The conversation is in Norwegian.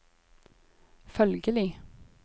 følgelig